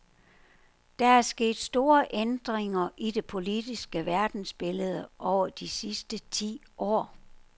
Der er sket store ændringer i det politiske verdensbillede over de sidste ti år.